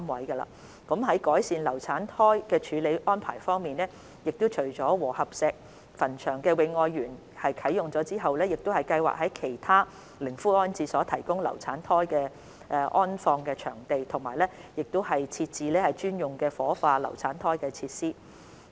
在改善流產胎的處理安排方面，除了和合石墳場的"永愛園"已經啟用之外，我們亦計劃在其他靈灰安置所內提供流產胎安放場地，並設置專用作火化流產胎的設施。